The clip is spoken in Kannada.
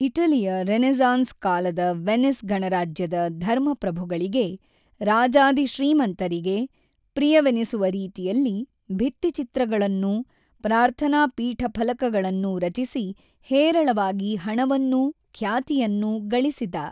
ಇಟಲಿಯ ರೆನೆಸಾನ್ಸ್ ಕಾಲದ ವೆನಿಸ್ ಗಣರಾಜ್ಯದ ಧರ್ಮ ಪ್ರಭುಗಳಿಗೆ ರಾಜಾದಿ ಶ್ರೀಮಂತರಿಗೆ ಪ್ರಿಯವೆನಿಸುವ ರೀತಿಯಲ್ಲಿ ಭಿತ್ತಿಚಿತ್ರಗಳನ್ನೂ ಪ್ರಾರ್ಥನಾಪೀಠಫಲಕಗಳನ್ನೂ ರಚಿಸಿ ಹೇರಳವಾಗಿ ಹಣವನ್ನೂ ಖ್ಯಾತಿಯನ್ನೂ ಗಳಿಸಿದ.